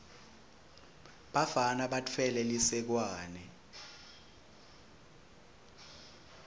bafana batfwele lisekwane